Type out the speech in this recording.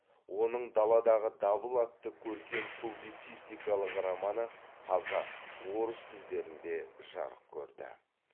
оның даладағы дабыл атты көркем публицистикалық романы қазақ орыс тілдерінде жарық көрді